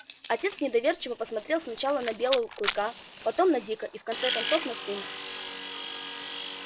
отец недоверчиво посмотрел сначала на белою клыка потом на дика и в конце концов на сына